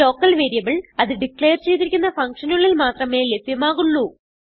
local variable അത് declare ചെയ്തിരിക്കുന്ന function നുള്ളിൽ മാത്രമേ ലഭ്യമാകുള്ളൂ